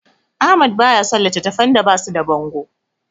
Ahmad baya son littattafan da basu da bango.